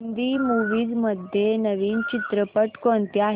Hindi movies मध्ये नवीन चित्रपट कोणते आहेत